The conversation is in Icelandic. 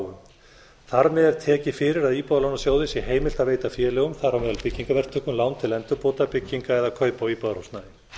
þar með er tekið fyrir að íbúðalánasjóði sé heimilt að veita félögum þar á meðal byggingarverktökum lán til endurbóta byggingar eða kaupa á íbúðarhúsnæði